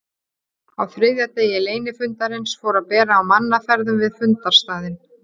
Á þriðja degi leynifundarins fór að bera á mannaferðum við fundarstaðinn.